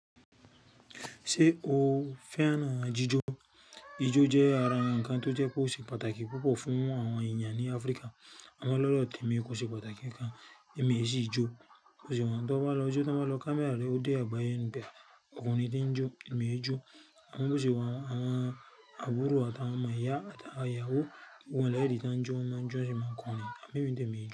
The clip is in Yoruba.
Ṣé o fẹ́ràn jíjó? Ijó jẹ́ ara ǹkan tó jẹ́ kó ṣe pàtàkì púpọ̀ fún àwọn ẹ̀yà ní Áfríkà. Àmọ́ lọ́rọ tèmi kò ṣe pàtàkì kan, èmi e sì jó. Kò sí ohun tó bá lọ jó, tí wọ́n bá lọ kámi àárọ̀, ó dé àgbáyé níbẹ̀, òkun ni tí ń jó, èmi ń jó. Àwọn búṣìwà, àwọn àbúrò àtàwọn ọmọ ìyá àtàwọn ìyàwó, gbogbo wọn lẹ́yìí ti ń jó, wọ́n máa ń jó, èmi máa ń kọrin, à mí mi tì èmi ń jó.